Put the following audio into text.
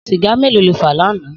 Sìgá méló ló fà lànã?